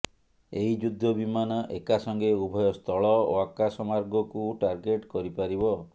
ଏହି ଯୁଦ୍ଧ ବିମାନ ଏକାସଙ୍ଗେ ଉଭୟ ସ୍ଥଳ ଓ ଆକାଶ ମାର୍ଗକୁ ଟାର୍ଗେଟ କରିପାରିବ